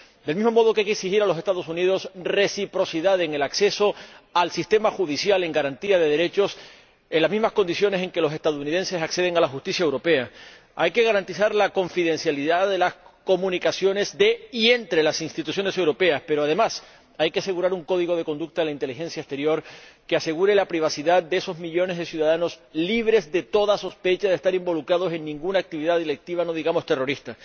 Del mismo modo, hay que exigir a los Estados Unidos reciprocidad en el acceso al sistema judicial con garantía de derechos en las mismas condiciones en que los estadounidenses acceden a la justicia europea, hay que garantizar la confidencialidad de las comunicaciones de y entre las instituciones europeas, pero, además hay que asegurar un código de conducta en la inteligencia exterior que asegure la privacidad de esos millones de ciudadanos libres de toda sospecha de estar involucrados en ninguna actividad delictiva, no digamos terrorista.